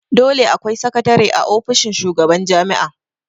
Dole akwai sakatare a ofishin shugaban jami'a